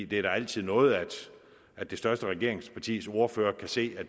det er da altid noget at det største regeringspartis ordfører kan se at